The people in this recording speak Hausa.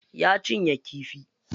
Ya cinye kifi.